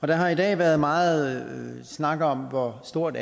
der har i dag været meget snak om hvor stort